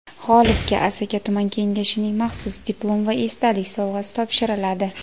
G‘olibga Asaka tuman Kengashining maxsus diplom va esdalik sovg‘asi topshiriladi.